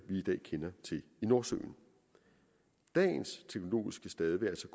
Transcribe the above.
i dag kender til i nordsøen dagens teknologiske stade vil